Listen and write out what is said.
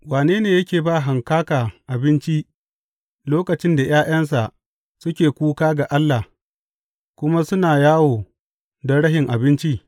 Wane ne yake ba hankaka abinci lokacin da ’ya’yansa suke kuka ga Allah, kuma suna yawo don rashin abinci?